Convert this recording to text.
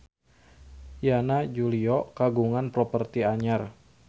Yana Julio kagungan properti anyar